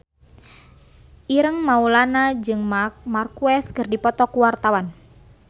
Ireng Maulana jeung Marc Marquez keur dipoto ku wartawan